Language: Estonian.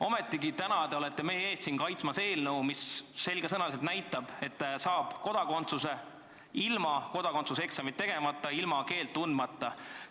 " Ometigi kaitsete te täna siin meie ees eelnõu, mis selgesõnaliselt näitab, et kodakondsust on võimalik saada ka ilma kodakondsuseksamit tegemata, ilma keelt tundmata.